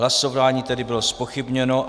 Hlasování tedy bylo zpochybněno.